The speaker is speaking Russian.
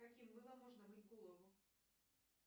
каким мылом можно мыть голову